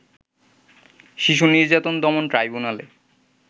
শিশু নির্যাতন দমন ট্রাইব্যুনালে